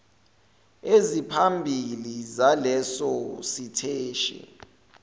eziphambili zaleso siteshi